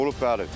Olub bəli.